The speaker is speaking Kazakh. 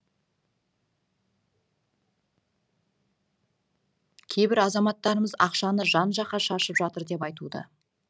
кейбір азаматтарымыз ақшаны жан жаққа шашып жатыр деп айтуда